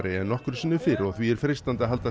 en nokkru sinni fyrr og því er freistandi að halda